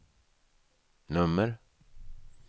nummer